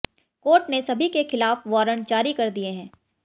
court ने सभी के खिलाफ वारंट जारी कर दिए हैं